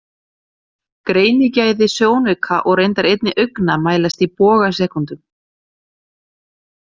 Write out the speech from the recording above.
Greinigæði sjónauka og reyndar einnig augna mælast í bogasekúndum.